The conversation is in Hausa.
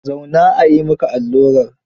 Zauna a yi maka allurar.